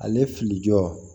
Ale filijɔ